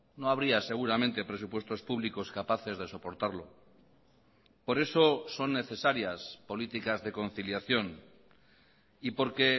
no habría seguramente presupuestos públicos capaces de soportarlo por eso son necesarias políticas de conciliación y porque